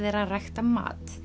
er ræktaður